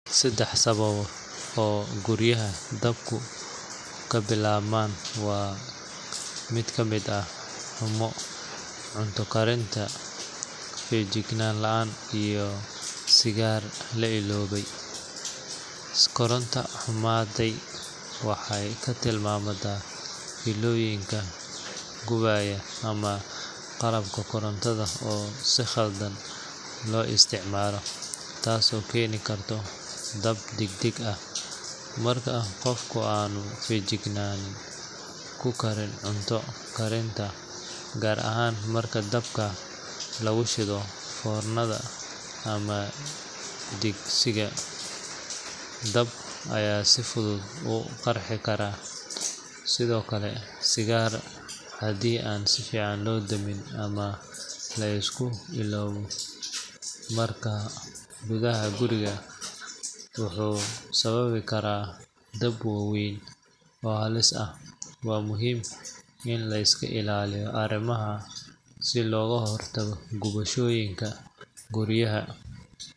cs]Saddex sababo oo guryaha dabku ka bilaabmaan waxaa ka mid ah koronto xumo, cunto karin aan feejignaan lahayn, iyo sigaarka la iloobay. Koronto xumada waxay ka timaadaa fiilooyinka gubanaya ama qalabka korontada oo si khaldan loo isticmaalo, taasoo keeni karta dab degdeg ah. Marka qofku aanu feejignaan ku karin cunto karinta, gaar ahaan marka dabka lagu shido foornada ama digsiga, dab ayaa si fudud u qarxi kara. Sidoo kale, sigaarka haddii aan si fiican loo damin ama la iska iloobo meelaha gudaha guriga ah, wuxuu sababi karaa dab waaweyn oo halis ah. Waa muhiim in la iska ilaaliyo arrimahan si looga hortago gubashooyinka guryaha.